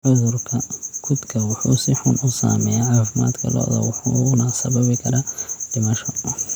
Cudurka kudka wuxuu si xun u saameeyaa caafimaadka lo'da wuxuuna sababi karaa dhimasho.